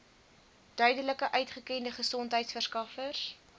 duidelik uitgekende gesondheidsorgverskaffers